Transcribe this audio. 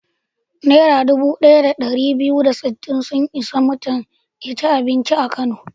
Naira dubu ɗaya da ɗari biyu da sittin sun isa mutum ya ci abinci a Kano.